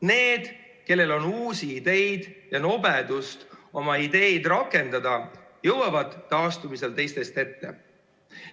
Need, kellel on uusi ideid ja nobedust oma ideid rakendada, jõuavad taastumise järel teistest ette.